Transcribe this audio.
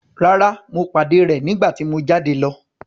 Rárá, mo pàdé rẹ̀ nígbà tí mo jáde lọ.